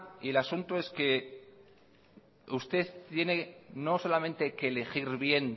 y el asunto es que usted tiene no solamente que elegir bien